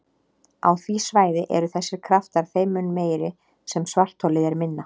Á því svæði eru þessir kraftar þeim mun meiri sem svartholið er minna.